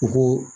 U ko